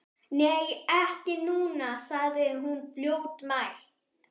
Nei, ekki núna, sagði hún fljótmælt.